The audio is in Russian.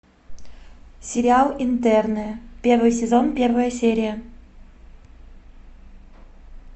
сериал интерны первый сезон первая серия